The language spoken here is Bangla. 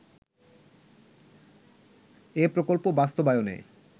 এ প্রকল্প বাস্তবায়নের